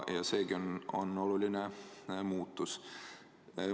Ja seegi on oluline muutus.